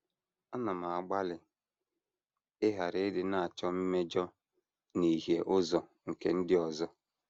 Ana m agbalị ịghara ịdị na - achọ mmejọ na ihie ụzọ nke ndị ọzọ.